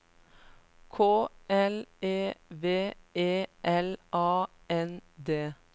K L E V E L A N D